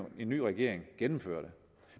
en ny regering gennemføre det